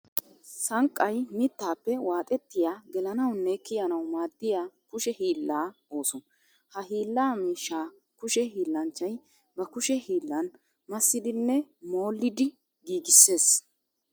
Sanqqay mittappe waaxettiya gelanawunne kiyannawu maadiya kushe hiilla ooso. Ha hiilla miishsha kushe hiillanchchay ba kushe hiillan massidinne molliddi giiggisees.